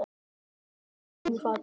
Það rauk úr fiskinum í fatinu.